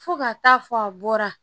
Fo ka taa fɔ a bɔra